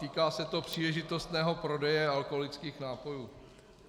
Týká se to příležitostného prodeje alkoholických nápojů.